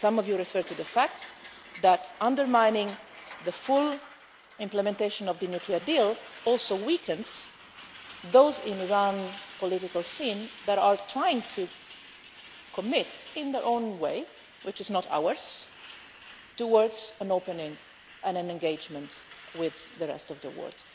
Some of you referred to the fact that undermining the full implementation of the nuclear deal also weakens those in Iran's political scene who are trying to commit in their own way which is not ours towards an opening and an engagement with the rest of the world.